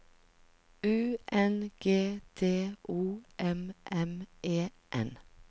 U N G D O M M E N